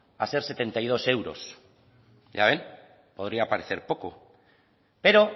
a ser setenta y dos euros ya ven podría parecer poco pero